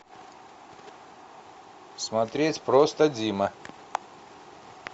смотреть просто дима